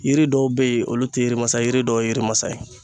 Yiri dɔw be yen olu te yirimasa ye yiri dɔw ye yirimasa ye